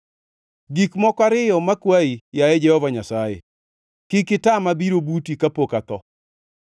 “Gik moko ariyo makwayi; yaye Jehova Nyasaye; kik itama biro buti kapok atho.